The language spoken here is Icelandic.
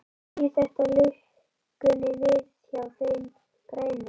Snýr þetta lukkunni við hjá þeim grænu?